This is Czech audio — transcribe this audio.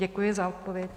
Děkuji za odpověď.